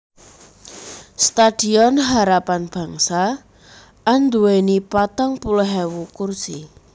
Stadion Harapan Bangsa anduwèni patang puluh ewu kursi